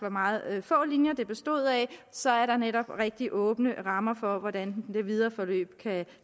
af meget få linjer så er der netop rigtig åbne rammer for hvordan det videre forløb